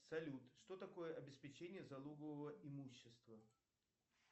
салют что такое обеспечение залогового имущества